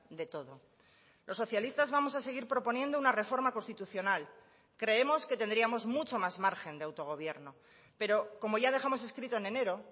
de todo los socialistas vamos a seguir proponiendo una reforma constitucional creemos que tendríamos mucho más margen de autogobierno pero como ya dejamos escrito en enero